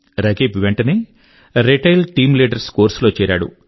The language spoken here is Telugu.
రకీబ్ వెంటనే రీటైల్ టీమ్ లీడర్ కోర్స్ లో చేరాడు